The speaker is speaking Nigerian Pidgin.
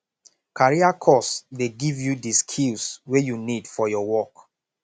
career course dey give you di skills wey you need for your work